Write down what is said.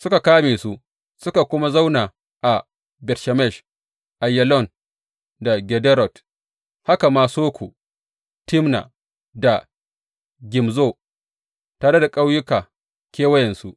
Suka kame su suka kuma zauna a Bet Shemesh, Aiyalon da Gederot, haka ma Soko, Timna da Gimzo tare da ƙauyuka kewayensu.